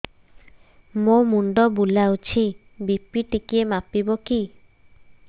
ମୋ ମୁଣ୍ଡ ବୁଲାଉଛି ବି.ପି ଟିକିଏ ମାପିବ କି